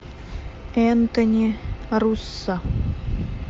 энтони руссо